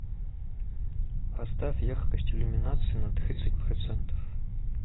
поставь яркость иллюминации на тридцать процентов